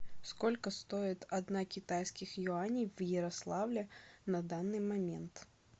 сколько стоит одна китайских юаней в ярославле на данный момент